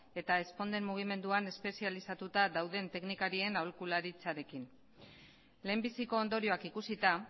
eta ezponden mugimenduan espezializatuta dauden teknikarien aholkularitzarekin lehenbiziko ondorioak ikusita